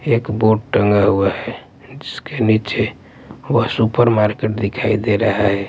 एक बोर्ड टंगा हुआ है जिसके नीचे वह सुपरमार्केट दिखाई दे रहा है।